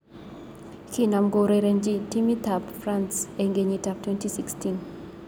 Kinam kourerenji timit ab emet ab France eng kenyit ab 2016.